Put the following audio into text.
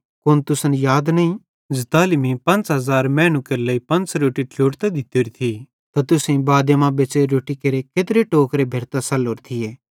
कुन तुसन याद नईं ज़ताली मीं 5000 मैनू केरे लेइ पंच़ रोट्टी ट्लोड़तां दित्तोरी थी त तुसेईं बादे मां बच़्च़ोरी रोट्टी केरे केत्रे टोकरे भेरतां सल्लोरे थिये